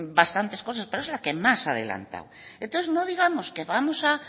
bastantes cosas pero es el que más ha adelantado entonces no digamos que vamos